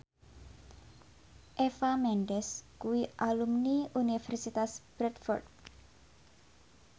Eva Mendes kuwi alumni Universitas Bradford